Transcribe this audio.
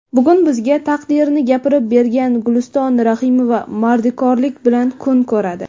Bugun bizga taqdirini gapirib bergan Guliston Rahimova mardikorlik bilan kun ko‘radi.